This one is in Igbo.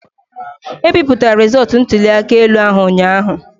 E bipụtara rịzọọtụ ntuli aka elu ahụ ụnyaahụ.